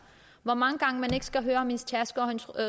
hvor mange gange skal høre om hendes tasker og hendes